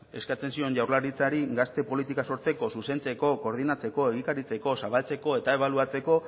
eskatzen dion jaurlaritzari gazte politika sortzeko zuzentzeko koordinatzeko egikaritzeko zabaltzeko eta ebaluatzeko